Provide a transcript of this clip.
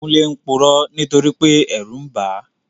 Kúnlé purọ́ nítorípé ẹ̀rù n bàá